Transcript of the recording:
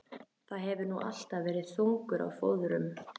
Þú hefur nú alltaf verið þungur á fóðrum.